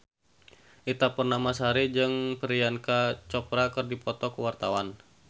Ita Purnamasari jeung Priyanka Chopra keur dipoto ku wartawan